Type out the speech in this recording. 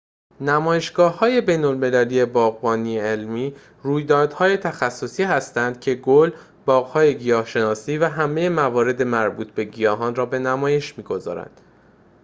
نمایشگاه‌های بین‌المللی باغبانی علمی رویدادهای تخصصی هستند که گل باغ‌های گیاه‌شناسی و همه موارد مربوط به گیاهان را به نمایش می‌گذارند